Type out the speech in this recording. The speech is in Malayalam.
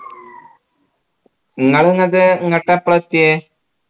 ഇങ്ങള് എന്നിട്ട് ഇങ്ങട്ട് എപ്പളാ എത്തിയേ